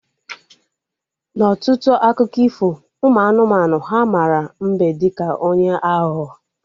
Na ọtụtụ akụkọ ifo ụmụ anụmanụ, ha mara mbe dịka onye aghụghọ